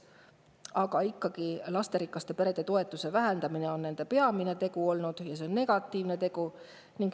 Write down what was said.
Aga ikkagi, nende peamine tegu on olnud lasterikaste perede toetuste vähendamine ja see on negatiivne tegu.